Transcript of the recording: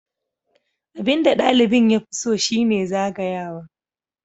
Abin da ɗalibin ya fi so shi ne zagayawa.